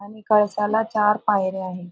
आणि कळसाला चार पायऱ्या आहे.